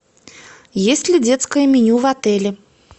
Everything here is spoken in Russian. есть ли детское меню в отеле